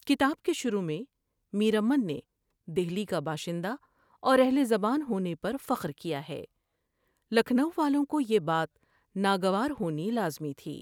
کتاب کے شروع میں میرامن نے دہلی کا باشندہ اور اہل زبان ہونے پر فخر کیا ہے ۔لکھنو والوں کو یہ بات ناگوار ہونی لازمی تھی ۔